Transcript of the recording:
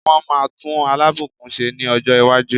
Wọ́n máa tún Alábùkún ṣe ní ọjọ́ iwájú.